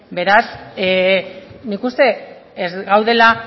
beraz nik uste ez gaudela